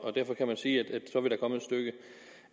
og derfor kan vi sige